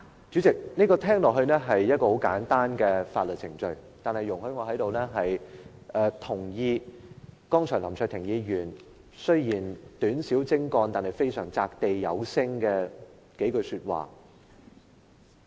主席，聽起來，這是一個十分簡單的法律程序，但容許我在這裏贊同林卓廷議員剛才短小精幹，但擲地有聲的數句說話。